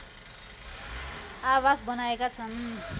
आबास बनाएका छन्